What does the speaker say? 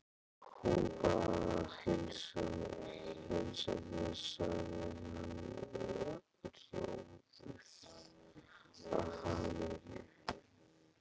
Hún bað að heilsa þér sagði hann rjóður af hamingju.